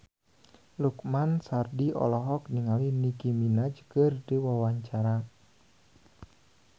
Lukman Sardi olohok ningali Nicky Minaj keur diwawancara